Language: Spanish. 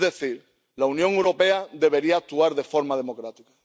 Es decir, la Unión Europea debería actuar de forma democrática.